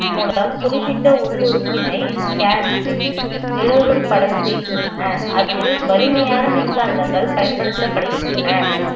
மூலம் குறிப்பிட்ட உள் உறுப்பினை scan நிழல்கள் படம் செய்கின்றன அதில் வலிமையான மின்காந்தங்கள் பயன்படுத்தப்படுகின்றன